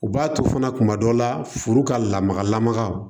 U b'a to fana kuma dɔ la furu ka lamaga lamaga